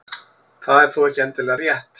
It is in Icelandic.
Það er þó ekki endilega rétt.